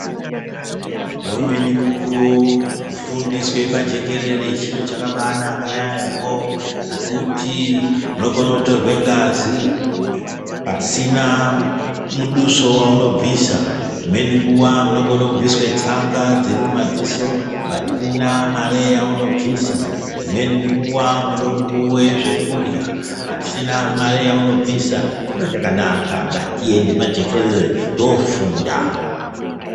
Ngeumweni mukuwo ,kufundiswa pajekerere chiro chakabanaka yaamho. Ngekuti unokone kutorwe ngazi pasina muduso waunobvisa. Dzimweni nguwa munokone kubviswa tsanga dzirimumaziso ,pasina mari yaunobvisa. Dzimweni nguva munokone kupuwa zvekurya pasina mari yaunobvisa .Chiro chakanaka ,ngatiende pajekerere toofunda.